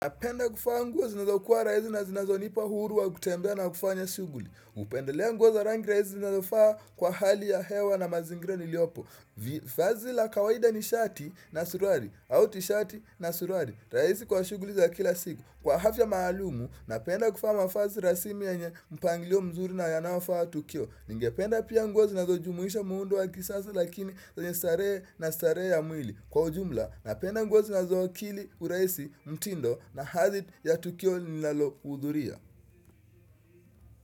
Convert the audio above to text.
Napenda kuvaa nguo zinazokuwa rahisi na zinazonipa huru wa kutembea na kufanya shughuli. Hupendelea nguo za rangi rahisi zinazofaa kwa hali ya hewa na mazingira niliopo. Vazi la kawaida ni shati na suruali, au tishati na suruali, rahisi kwa shughuli za kila siku. Kwa afya maalumu, napenda kuvaa mavazi rasmi yenye mpangilio mzuri na yanaofaa tukio. Ningependa pia nguo zinazojumuisha muundo wa kisasa lakini zenye starehe na starehe ya mwili. Kwa ujumla napenda nguo zinazowakili urahisi mtindo na hali ya tukio ninalohudhuria.